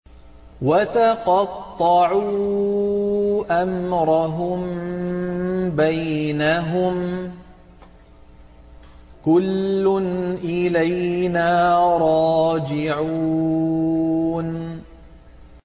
وَتَقَطَّعُوا أَمْرَهُم بَيْنَهُمْ ۖ كُلٌّ إِلَيْنَا رَاجِعُونَ